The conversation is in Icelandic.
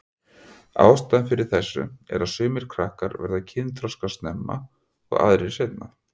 Ástæðan fyrir þessu er að sumir krakkar verða kynþroska snemma og aðrir seinna.